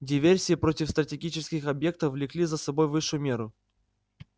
диверсии против стратегических объектов влекли за собой высшую меру